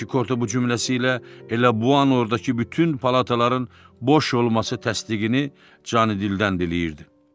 Sanki Korte bu cümləsi ilə elə bu an ordakı bütün palataların boş olması təsdiqini canidildən diləyirdi.